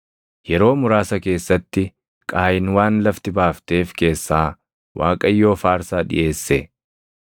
Yeroo muraasa keessatti Qaayin waan lafti baafteef keessaa Waaqayyoof aarsaa dhiʼeesse.